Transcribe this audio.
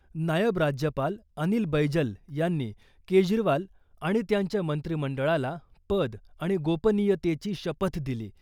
नायब राज्यपाल अनिल बैजल यांनी केजरीवाल आणि त्यांच्या मंत्रिमंडळाला पद आणि गोपनियतेची शपथ दिली .